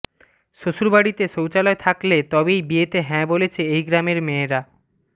শ্বশুড়বাড়িতে শৌচালয় থাকলে তবেই বিয়েতে হ্যাঁ বলছে এই গ্রামের মেয়েরা